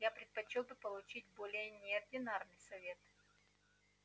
я предпочёл бы получить более неординарный совет